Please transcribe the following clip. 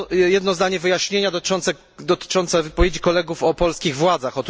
Jedno zdanie wyjaśnienia, dotyczące wypowiedzi kolegów o polskich władzach.